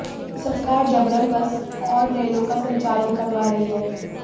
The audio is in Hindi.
सरकार जबरन बस और रेलों का संचालन करवा रही है